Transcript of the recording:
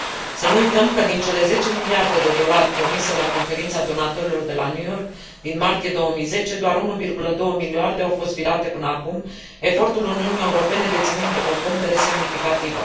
Să nu uităm că, din cele 10 miliarde de dolari promise la Conferința donatorilor de la New York, din martie 2010, doar 1,2 miliarde au fost virate până acum, efortul Uniunii Europene deținând o pondere semnificativă.